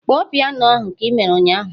Kpọọ piano ahụ ka ị mere ụnyaahụ!